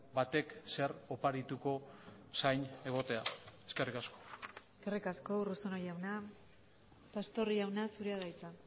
batek zer oparituko zain egotea eskerrik asko eskerrik asko urruzuno jauna pastor jauna zurea da hitza